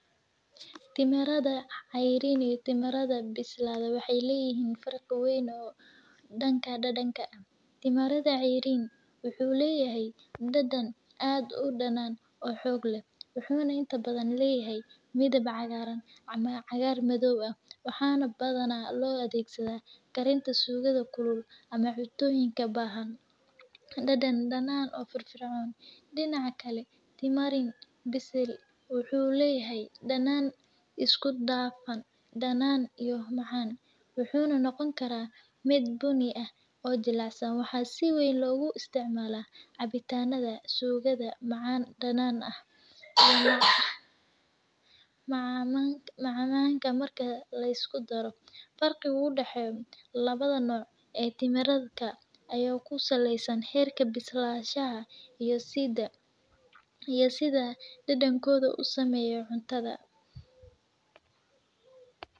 Timirada cayrin iyo timirida bisladay waxay leyihin farqi aad uweyn danka dadanka, timirada cayrin waxu leyin dadan aad udanan oo xog leh wuxu inta badhan lehyay midib cagaran ama cagar madow ah waxana badhan lo adhegsada karinta sugada kulul ama cuntoyinka bahan, dadan danaan oo firfircon, dinaca kale timira bisil wuxu lehyay danan iskudafan, wuxu noqoni kara midi buni eh oo jilac san waxa siweeyn logu istacmala cabitanda, sugada, macan danan ah macmacan marki liskudaro farqiga udaxeyo labada nuuc ee timirida aya kusaleysan herka bislahasha iyo sida dadankoda usameyo cuntada.